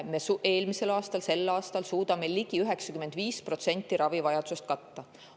Me eelmisel aastal suutsime ja sel aastal suudame ligi 95% ravivajadusest katta.